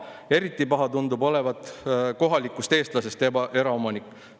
Eriti paha tundub olevat kohalikust eestlasest eraomanik.